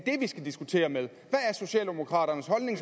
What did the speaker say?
skal diskutere med hvad er socialdemokraternes holdning